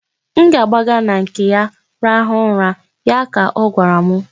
M ga-agbaga na nke ya rahụ ụra', ya ka ọ gwara m.